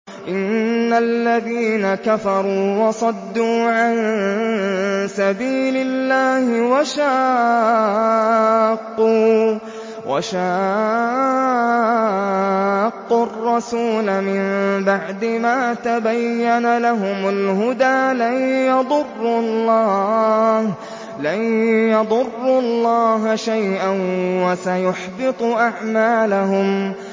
إِنَّ الَّذِينَ كَفَرُوا وَصَدُّوا عَن سَبِيلِ اللَّهِ وَشَاقُّوا الرَّسُولَ مِن بَعْدِ مَا تَبَيَّنَ لَهُمُ الْهُدَىٰ لَن يَضُرُّوا اللَّهَ شَيْئًا وَسَيُحْبِطُ أَعْمَالَهُمْ